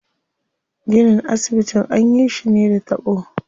Ginin asibitin anyi shi ne da taɓo.